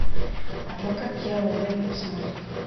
адвокат дьявола дай мне посмотреть